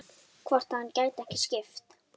Hvort hann gæti ekki skipt?